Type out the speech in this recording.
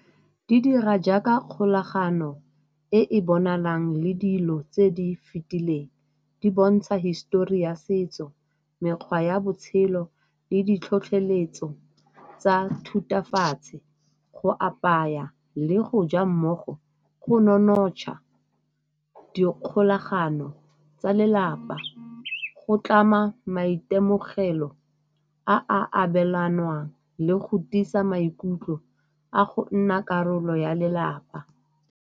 Di dira jaaka kgolagano e e bonalang le dilo tse di fetileng, di bontsha hisitori ya setso, mekgwa ya botshelo le ditlhotlheletso tsa thutafatse. Go apaya le go ja mmogo go nonotsha dikgolagano tsa lelapa, go tlama maitemogelo a abelanwang le go tiisa maikutlo a go nna karolo ya lelapa.